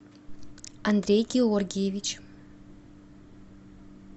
андрей георгиевич